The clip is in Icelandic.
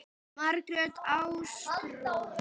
Margrét Ástrún.